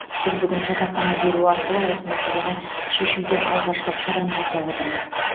біз бүгін жатақхана беру арқылы осы мәселені шешуде алғашқы қадам жасап отырмыз